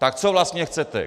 Tak co vlastně chcete?